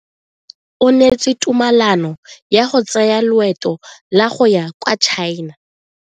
O neetswe tumalano ya go tsaya loeto la go ya kwa China.